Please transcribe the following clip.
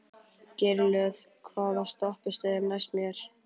Geirlöð, hvaða stoppistöð er næst mér?